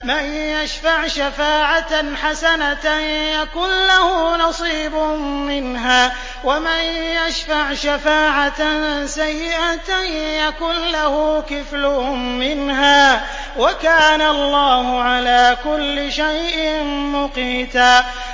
مَّن يَشْفَعْ شَفَاعَةً حَسَنَةً يَكُن لَّهُ نَصِيبٌ مِّنْهَا ۖ وَمَن يَشْفَعْ شَفَاعَةً سَيِّئَةً يَكُن لَّهُ كِفْلٌ مِّنْهَا ۗ وَكَانَ اللَّهُ عَلَىٰ كُلِّ شَيْءٍ مُّقِيتًا